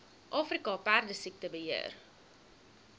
afrika perdesiekte beheer